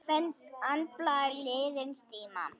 Finna andblæ liðins tíma.